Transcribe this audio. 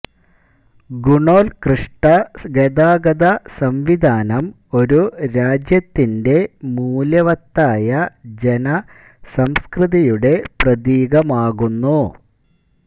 ഗുണോല്കൃഷ്ട ഗതാഗത സംവിധാനം ഒരു രാജ്യത്തിന്റെ മൂല്യവത്തായ ജനസംസ്കൃതിയുടെ പ്രതീകമാകുന്നു